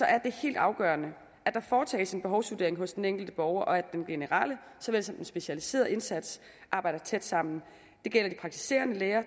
er det helt afgørende at der foretages en behovsvurdering hos den enkelte borger og at den generelle såvel som den specialiserede indsats arbejder tæt sammen det gælder de praktiserende læger og